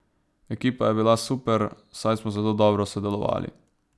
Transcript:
Ekipa je bila super, saj smo zelo dobro sodelovali.